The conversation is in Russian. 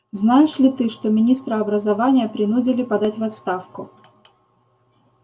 знаешь ли ты что министра образования принудили подать в отставку